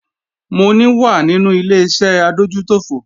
Mò ní wà nínú Ileṣẹ́ adójútòfò